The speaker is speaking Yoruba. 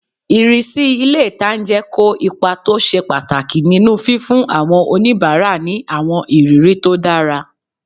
Ìrísí ilé-ìtánjẹ kó ipa tó ṣe pàtàkì nínu fífún àwọn oníbàárà ní àwọn ìrírí tó dára